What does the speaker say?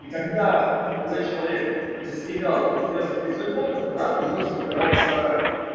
и когда молодой человек достигал определённых результатов брат его запирал в сарае